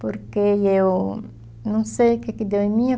Porque eu não sei o que que deu em mim.